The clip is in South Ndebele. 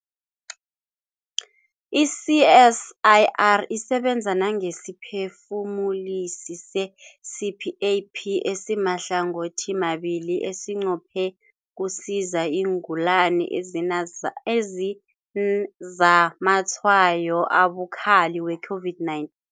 I-CSIR isebenza nangesiphefumulisi se-CPAP esimahlangothimabili esinqophe ukusiza iingulani ezinazamatshwayo abukhali we-COVID-9